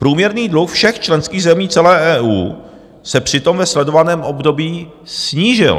Průměrný dluh všech členských zemí celé EU se přitom ve sledovaném období snížil.